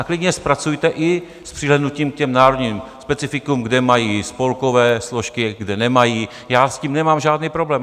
A klidně zpracujte i s přihlédnutím k národním specifikům, kde mají spolkové složky, kde nemají, já s tím nemám žádný problém.